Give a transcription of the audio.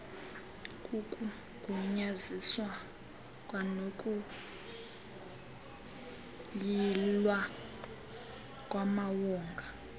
kukugunyaziswa kwanokuyilwa kwamawonga